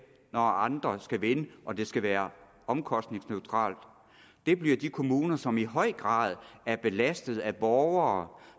når andre skal vinde og det skal være omkostningsneutralt bliver de kommuner som i høj grad er belastet af borgere